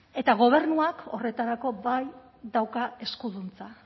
eta gobernuak horretarako bai dauka eskuduntza